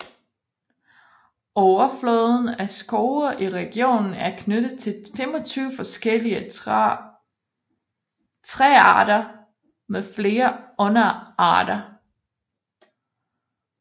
Overfloden af skove i regionen er knyttet til 25 forskellige træarter med flere underarter